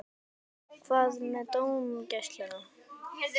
Hvað með dómgæsluna?